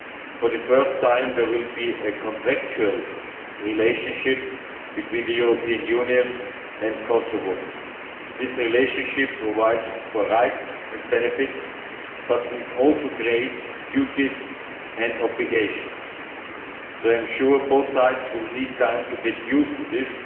For the first time, there will be a contractual relationship between the European Union and Kosovo. This relationship provides for rights and benefits, but it also creates duties and obligations. I am sure both sides will need time to get used